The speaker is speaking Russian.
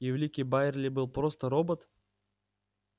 и великий байерли был просто робот